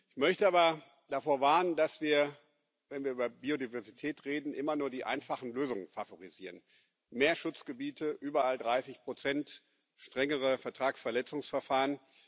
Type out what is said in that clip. Ich möchte aber davor warnen, dass wir, wenn wir über Biodiversität reden, immer nur die einfachen Lösungen favorisieren mehr Schutzgebiete, überall 30 strengere Vertragsverletzungsverfahren.